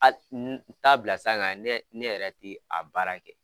A bila san kan ne ne yɛrɛ ti a baara kɛ.